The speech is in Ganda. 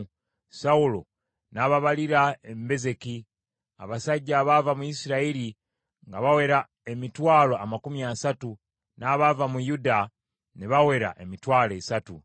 Sawulo n’ababalira e Bezeki, abasajja abaava mu Isirayiri nga bawera emitwalo amakumi asatu, n’abaava mu Yuda ne bawera emitwalo esatu.